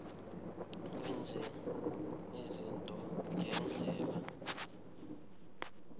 wenze izinto ngendlela